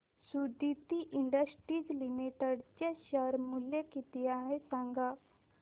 Suditi industries limited चे शेअर मूल्य किती आहे सांगा